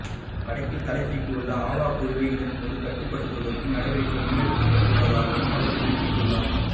வடக்கில் தலைதூக்கியுள்ள ஆவா குழுவை இதன்போது கட்டுப்படுத்துவதற்கும் நடவடிக்கை முன்னெடுக்கப்பட்டுள்ளதாகவும் அவர் குறிப்பிட்டுள்ளார்